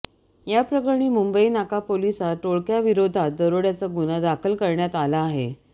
याप्रकरणी मुंबई नाका पोलिसात टोळक्याविरोधात दरोड्याचा गुन्हा दाखल करण्यात आला आहे